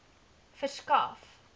verskaf